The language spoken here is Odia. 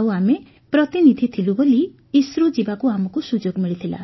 ଆଉ ଆମେ ପ୍ରତିନିଧି ଥିଲୁ ବୋଲି ଇସ୍ରୋ ଯିବାକୁ ଆମକୁ ସୁଯୋଗ ମିଳିଥିଲା